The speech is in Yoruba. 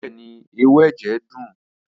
Bẹẹni, ẹwu ẹjẹ dun.